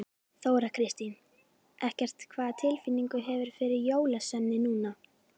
Þóra Kristín: Eggert, hvaða tilfinningu hefurðu fyrir jólaösinni núna?